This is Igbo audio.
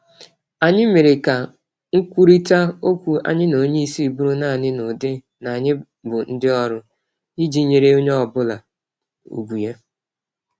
Anyị mèrè ka nkwurịta ókwú anyị na onyeisi bụrụ nanị n'ụdị n'anyị bụ ndị ọrụ, iji nyèrè onye obula ùgwù ya.